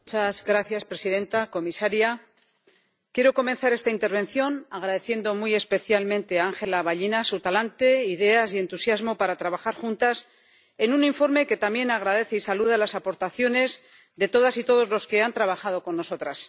Señora presidenta, señora comisaria, quiero comenzar esta intervención agradeciendo muy especialmente a Ángela Vallina su talante, sus ideas y entusiasmo para trabajar juntas en un informe que también agradece y saluda a las aportaciones de todas y todos los que han trabajado con nosotras.